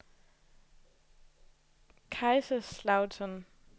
Kaiserslautern